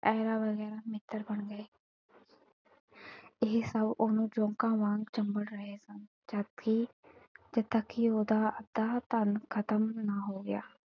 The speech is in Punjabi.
ਐਰਾ ਬਗੈਰਾ ਮਿੱਤਰ ਬਣ ਗਏ ਇਹ ਸਬ ਉਹਨੂੰ ਜ਼ੋਕਾਂ ਵਾਂਗ ਚਿੰਬੜ ਰਹੇ ਸਨ ਜਦਕਿ ਜਦਕਿ ਉਹਦਾ ਅੱਧਾ ਧਨ ਖ਼ਤਮ ਨਾ ਹੋ ਗਿਆ।